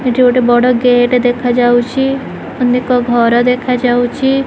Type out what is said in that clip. ଏଠି ଗୋଟେ ବଡ଼ ଗେଟ୍ ଦେଖାଯାଉଛି ଅନେକ ଘର ଦେଖାଯାଉଛି।